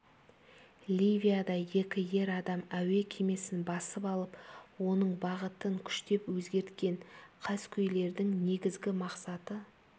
ливияда екі ер адам әуе кемесін басып алып оның бағытын күштеп өзгерткен қаскөйлердің негізгі мақсаты